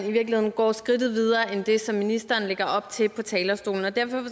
i virkeligheden går skridtet videre end det som ministeren lægger op til fra talerstolen derfor